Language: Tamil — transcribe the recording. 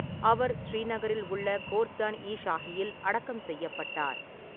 அவர் ஸ்ரீநகரில் உள்ள கோர்ஸ்தான் இ ஷாஹியில் அடக்கம் செய்யப்பட்டார்.